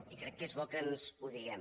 i crec que és bo que ens ho diguem